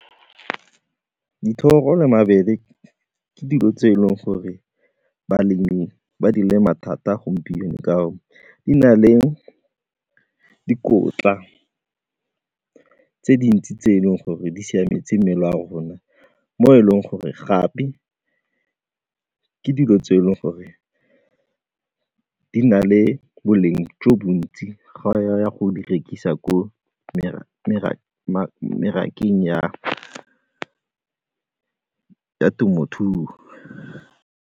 Dithoro le mabele ke dilo tse e leng gore balemi ba di lema thata gompieno ka gore di na le dikotla tse dintsi tse e leng gore di siametse mmele wa rona mo e leng gore gape ke dilo tse e leng gore di na le boleng jo bontsi ga o ya go di rekisa ko merakeng ya temothuo.